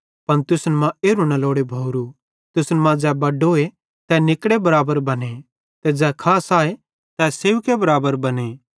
पन तुसन मां एरू लोड़े भोवरू तुसन मां ज़ै बड्डोए तै निकड़ेरे बराबर बने ते ज़ै खास आए तै सेवकेरे बराबर बने